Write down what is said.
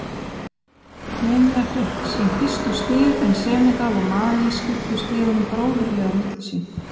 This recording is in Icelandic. Kenýa fékk sín fyrstu stig en Senegal og Malí skiptu stigunum bróðurlega á milli sín.